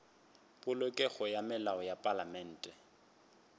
polokego ga melao ya palamente